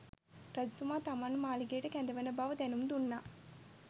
රජතුමා තමන්ව මාලිගයට කැඳවන බව දැනුම් දුන්නා.